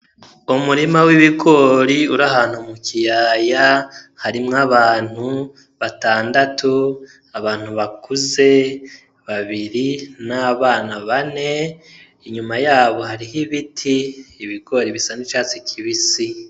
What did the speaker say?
Umurima w'ibigori uri ahantu mu kiyaya harimwo abantu batandatu abantu bakuze babiri n'abana bane inyuma yabo hariho ibiti ibigori bisane icatsi kib isi.